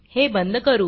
हे बंद करू